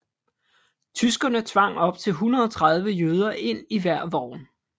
Tyskerne tvang op til 130 jøder ind i hver vogn